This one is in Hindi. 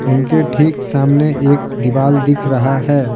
उनके ठीक सामने एक दीवार दिख रहा है।